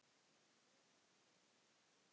Hún veifaði til hans.